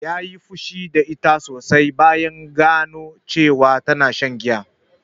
Ya yi fushi da ita sosai bayan gano cewa tana shan giya